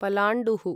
पलाण्डुः